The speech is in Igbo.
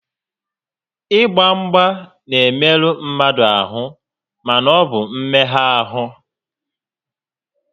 Ị gba mgba n'emerụ mmadụ ahụ mana ọ bụ mmegha ahụ